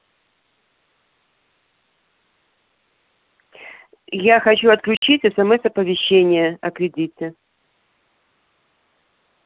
я хочу отключить смс-оповещение о кредите